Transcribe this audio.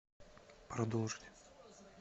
продолжить